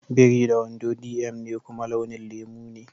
Biri da wando dm ne kuma launin lemu ne.